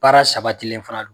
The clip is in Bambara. Baara saba dilen fana don